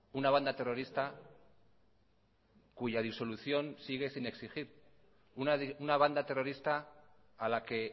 una banda terrorista cuya disolución sigue sin exigir una banda terrorista a la que